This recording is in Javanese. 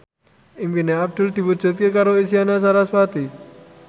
impine Abdul diwujudke karo Isyana Sarasvati